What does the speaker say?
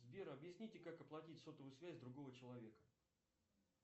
сбер объясните как оплатить сотовую связь другого человека